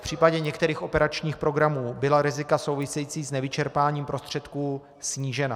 V případě některých operačních programů byla rizika související s nevyčerpáním prostředků snížena.